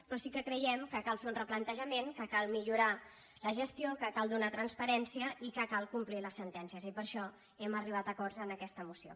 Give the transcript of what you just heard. però sí que creiem que cal fer un replante·jament que cal millorar la gestió que cal donar trans·parència i que cal complir les sentències i per això hem arribat a acords en aquesta moció